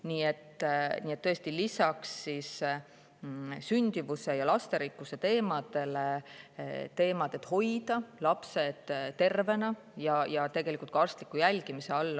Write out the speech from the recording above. Nii et tõesti, lisaks sündimuse ja lasterikkuse on tähtis hoida lapsed tervena ja arstliku jälgimise all.